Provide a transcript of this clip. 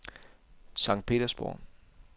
Sankt Petersborg